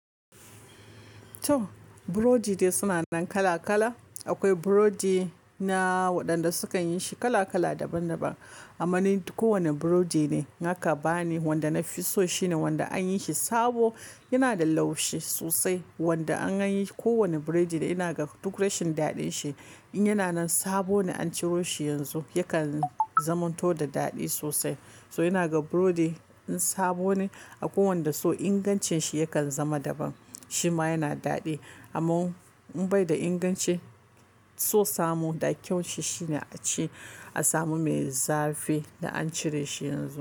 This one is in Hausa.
To, burodi dai suna nan kala kala. Akwai burodi na waɗanda sukan yi shi kala kala daban daban. Amma ni kowane burodi ne, naka bani wanda na fi so shine wanda an yi shi sabo, yana da laushi sosai. Wanda an yi ko wane burodi ina ga duk rashin daɗin shi. In yana nan sabo ne an ciro shi yanzu, yakan zamanto da daɗi sosai. To ina ga burodi in sabo ne a kowanne da so ingancin shi yakan zama daban. Shi ma yana daɗi amma in bai da inganci, so samu da kyau shi shine a ci, a samu mai zafi da an cire shi yanzu.